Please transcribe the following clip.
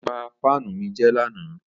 Ó ba fáánù mi jẹ́ lánàá.